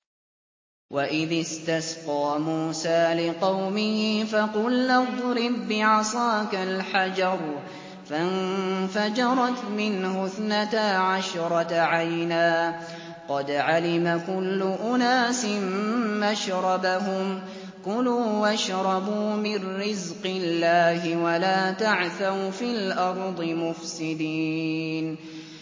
۞ وَإِذِ اسْتَسْقَىٰ مُوسَىٰ لِقَوْمِهِ فَقُلْنَا اضْرِب بِّعَصَاكَ الْحَجَرَ ۖ فَانفَجَرَتْ مِنْهُ اثْنَتَا عَشْرَةَ عَيْنًا ۖ قَدْ عَلِمَ كُلُّ أُنَاسٍ مَّشْرَبَهُمْ ۖ كُلُوا وَاشْرَبُوا مِن رِّزْقِ اللَّهِ وَلَا تَعْثَوْا فِي الْأَرْضِ مُفْسِدِينَ